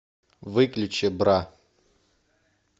выключи бра